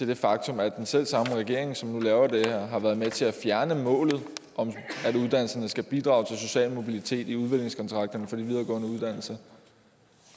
det faktum at den selv samme regering som nu laver det her har været med til at fjerne målet om at uddannelserne skal bidrage til at sociale mobilitet i udviklingskontrakterne for de videregående uddannelser